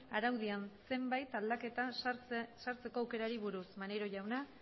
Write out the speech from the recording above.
araudian zenbait aldaketa sartzeko aukerari buruz maneiro jauna